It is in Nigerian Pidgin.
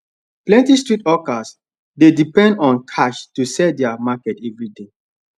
plenty street hawkers dey depend on cash to sell their market every day